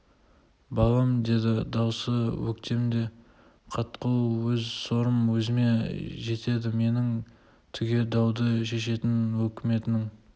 балам деді дауысы өктем де қатқыл өз сорым өзіме жетеді менің түге дауды шешетін өкіметінің